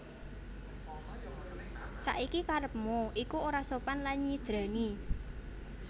Saiki karepmu iku ora sopan lan nyidrani